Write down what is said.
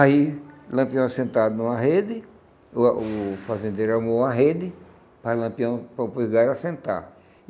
Aí, Lampião assentado numa rede, o o fazendeiro armou uma rede para Lampião, para o Vigário assentar.